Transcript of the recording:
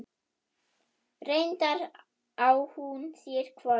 Reyndar á hún sér hvorki